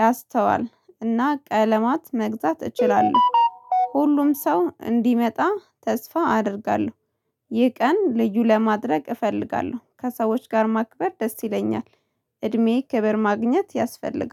ማስተዋል እና ቀለማት መግዛት እችላለሁ ሁሉም ሰው እንደሚመጣ ተስፋ አደርጋለሁ። ይህን ቀን ልዩ ለማድረግ እፈልጋለሁ ከሰዎች ጋር ማክበር ደስ ይለኛል። እድሜዬ ክብር ማግኘት ያስፈልጋል